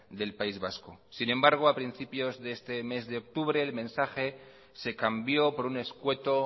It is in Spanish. del país vasco sin embargo a principios de este mes de octubre el mensaje se cambió por un escueto